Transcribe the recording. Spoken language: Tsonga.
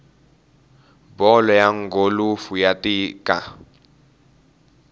bolo ya gholufu ya tika